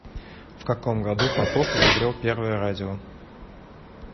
в каком году попов изобрел первое радио